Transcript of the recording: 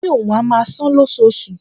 Ó ní òun á máa san-án lóṣooṣù